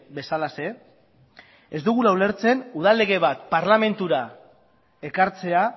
bezalaxe ez dugula ulertzen udal lege bat parlamentura ekartzea